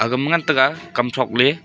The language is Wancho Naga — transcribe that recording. gama ngan taiga kam throkley.